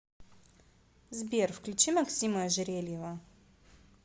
сбер включи максима ожерельева